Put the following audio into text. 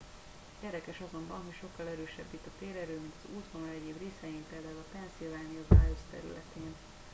érdekes azonban hogy sokkal erősebb itt a térerő mint az útvonal egyéb részein pl a pennsylvania wilds területén